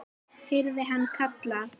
heyrði hann kallað.